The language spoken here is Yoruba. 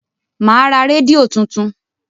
Mà á ra rédíò tuntun.